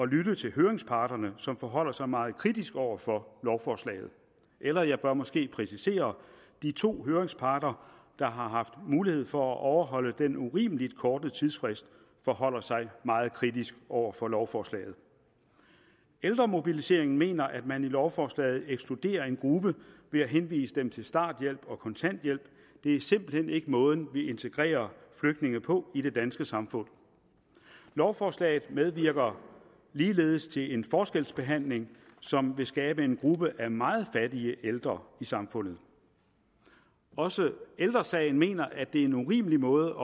lytte til høringsparterne som forholder sig meget kritisk over for lovforslaget eller jeg bør måske præcisere de to høringsparter der har haft mulighed for at overholde den urimelig korte tidsfrist forholder sig meget kritisk over for lovforslaget ældremobiliseringen mener at man i lovforslaget ekskluderer en gruppe ved at henvise dem til starthjælp og kontanthjælp det er simpelt hen ikke måden vi integrerer flygtninge på i det danske samfund lovforslaget medvirker ligeledes til en forskelsbehandling som vil skabe en gruppe af meget fattige ældre i samfundet også ældre sagen mener at det er en urimelig måde